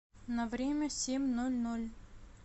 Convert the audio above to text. на время семь ноль ноль